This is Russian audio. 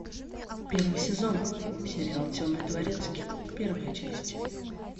первый сезон сериал темный дворецкий первая часть